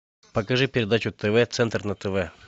покажи передачу тв центр на тв